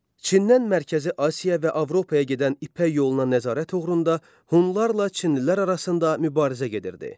Çindən Mərkəzi Asiya və Avropaya gedən İpək yoluna nəzarət uğrunda Hunlarla Çinlilər arasında mübarizə gedirdi.